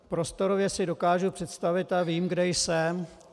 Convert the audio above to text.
Prostorově si dokážu představit a vím, kde jsem.